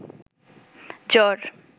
জ্বর